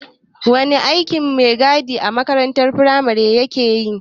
Wane aikin maigadin a makarantar firamare ya keyi?